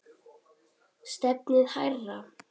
Stefnið hærra.